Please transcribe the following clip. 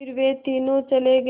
फिर वे तीनों चले गए